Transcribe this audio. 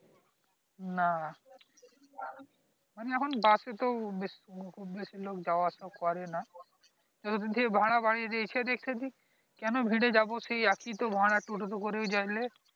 না মানে এখন বসে তো ~বে খুব বেশি লোক যাওয়া আসা করে না যদ্ধি ভাড়া বাড়িয়ে দিয়েছে দেখছি যে সে কেন যাব সেই এক ই তো ভাড়া টোটো তে করে যাইলে